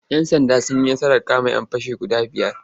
Yan'sanda sun yi nasarar kama'yan fashi guda biyar.